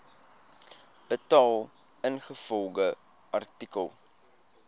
betaal ingevolge artikel